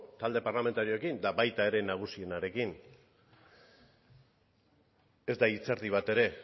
talde parlamentariokin eta baita era nagusienarekin ez da hitz erdi bat ere